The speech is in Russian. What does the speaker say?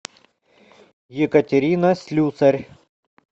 екатерина слюсарь